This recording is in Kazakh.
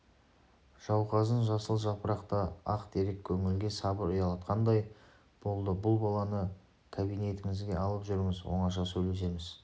жауқазын жасыл жапырақты ақ терек көңілге сабыр ұялатқандай болды бұл баланы кабинетіңізге алып жүріңіз оңаша сөйлесеміз